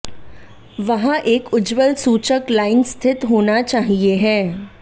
वहाँ एक उज्ज्वल सूचक लाइन स्थित होना चाहिए है